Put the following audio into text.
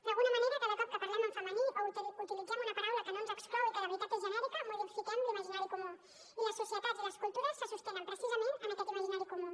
d’alguna manera cada vegada que parlem en femení o utilitzem una paraula que no ens exclou i que de veritat és genèrica modifiquem l’imaginari comú i les societats i les cultures se sostenen precisament en aquest imaginari comú